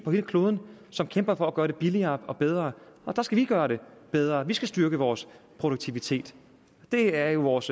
kloden som kæmper for at gøre det billigere og bedre der skal vi gøre det bedre vi skal styrke vores produktivitet det er jo vores